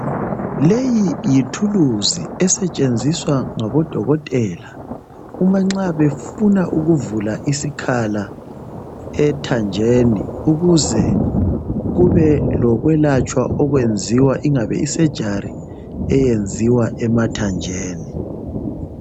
Leyi yi thuluzi esetshenziswa ngabo dokotela, uma nxa befuna ukuvula isikhala ethanjeni, ukuze kube lokwelatshwa okwenziwa, ingabe i-surgery eyenziwa emathanjeni.